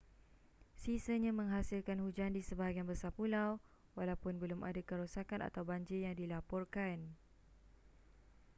sisanya menghasilkan hujan di sebahagian besar pulau walaupun belum ada kerosakan atau banjir yang dilaporkan